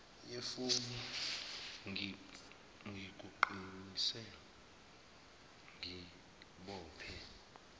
yefoni ngikuqinise ngibophe